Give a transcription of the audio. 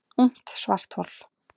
Ungt svarthol